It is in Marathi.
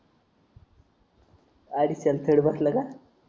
अडीचशे आणि थोडा बसला का